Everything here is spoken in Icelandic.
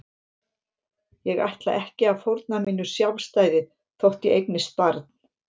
Ég ætla ekki að fórna mínu sjálfstæði þótt ég eignist barn.